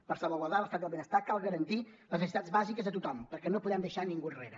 per salvaguardar l’estat del benestar cal garantir les necessitats bàsiques de tothom perquè no podem deixar ningú enrere